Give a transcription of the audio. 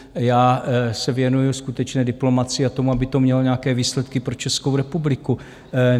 Já se věnuji skutečné diplomacii a tomu, aby to mělo nějaké výsledky pro Českou republiku.